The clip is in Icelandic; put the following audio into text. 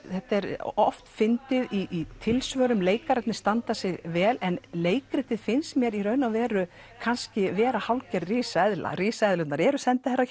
þetta er oft fyndið í tilsvörum leikararnir standa sig vel en leikritið finnst mér í raun og veru kannski vera hálfgerð risaeðla risaeðlurnar eru